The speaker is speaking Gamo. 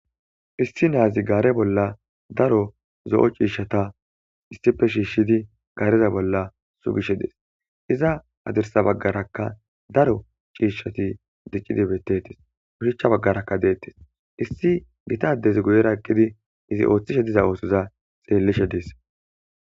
issi naazi gaare bolla daro zo7o ciishshata issife shiishshidi gaareza bolla sugishe dees iza hadirsa baggarakka daro ciishshati diccidi bettetes ushichcha baggarakka deettes issi gitadez guyera eqqidi izi ooththishe diza oosoza xeellishe dees